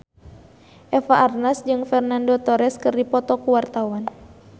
Eva Arnaz jeung Fernando Torres keur dipoto ku wartawan